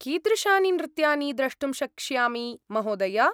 कीदृशानि नृत्यानि द्रष्टुं शक्ष्यामि महोदय?